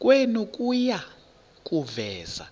kwenu kuya kuveza